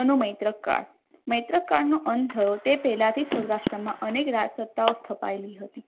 અનુમૈત્રક કાળ મૈત્રક કાળ નો અંત થયો તે પહેલાથી જ સૌરાષ્ટ્રમાં અનેક રાજ સત્તાઓ સ્થપાઈ હતી